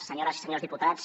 senyores i senyors diputats